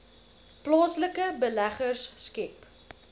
plaaslike beleggers skep